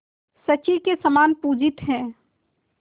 शची के समान पूजित हैं